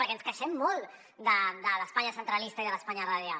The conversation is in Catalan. perquè ens queixem molt de l’espanya centralista i de l’espanya radial